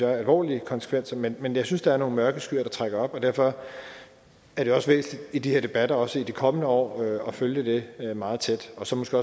alvorlige konsekvenser men men jeg synes der er nogle mørke skyer der trækker op og derfor er det også væsentligt i de her debatter også i de kommende år at følge det meget tæt og så måske